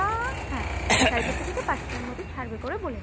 হ্যাঁ সাড়ে চারটা থেকে পাঁচটার মধ্যে ছাড়বে করে বলেছে